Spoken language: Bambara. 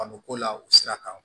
Kanu ko la o sira kan